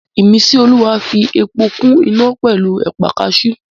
Ìmísíolúwa fi epo kún iná pẹ̀lú ẹ̀pà kaasú